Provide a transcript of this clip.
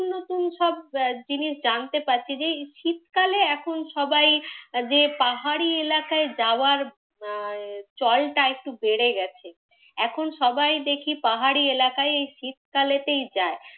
এখন সব জিনিস জানতে পারছি। যে এই শীতকালে এখন সবাই এই যে পাহাড়ি এলাকায় যাওয়ার চলটা একটু বেড়ে গেছে। এখন সবাই দেখি পাহাড়ি এলাকায় এই শীতকালেতেই যায়।